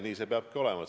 Nii see peabki olema.